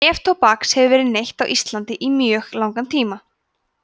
neftóbaks hefur verið neytt á íslandi í mjög langan tíma